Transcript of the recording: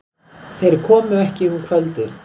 Þeir komu ekki um kvöldið.